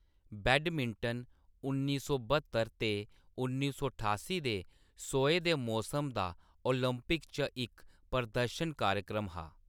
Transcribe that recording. Badminton उन्नी सौ ब्हत्तर ते उन्नी सौ ठासीं दे सोहे दे मौसम दा ओलंपिक च इक प्रदर्शन कार्यक्रम हा।